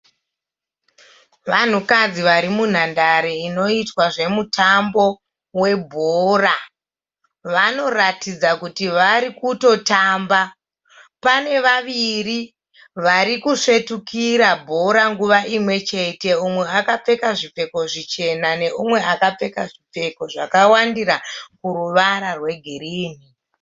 Vanhukadzi vari munhandare inoitwa zvemutambo webhora. Vanoratidza kuti varikutotamba. Pane vaviri varikusvetukira bhora nguva imwe chete. Umwe akapfeka zvichena nemumwe akapfeka zvipfeko zvakawandira kuruvara rwe girinhi.